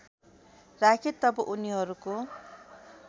राखे तब उनीहरूको